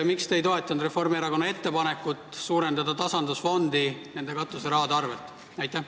Miks te ei toetanud Reformierakonna ettepanekut suurendada tasandusfondi summasid nende katuserahade arvel?